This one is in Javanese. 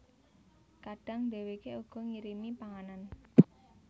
Kadang dhèwèké uga ngirimi panganan